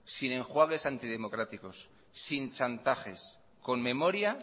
sin enjuagues antidemocráticos sin chantajes con memoria